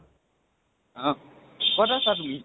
অ । কত আছে তুমি?